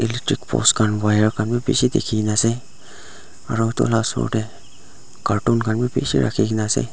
electric post khan wire khan vi bishi dekhi na aru etu laga osor tae cartoon khan vi bishi rakhina ase.